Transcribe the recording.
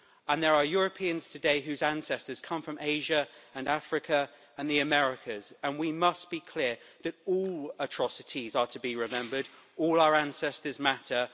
There are Europeans today whose ancestors come from Asia, Africa and the Americas, and we must be clear that all atrocities are to be remembered. All our ancestors matter.